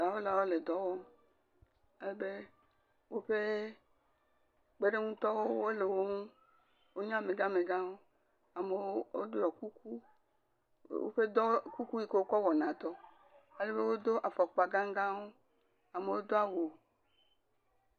Dɔwɔlawo le dɔ wɔm. ale be, woƒe kpeɖeŋutɔwo le wo ŋu. wonye amegãmegãwo. Amewo woɖɔ kuku woƒe dɔ kuku yi ke wokɔ wɔna dɔ. Eɖewo do afɔkpa gagãwo. Amewo do awu.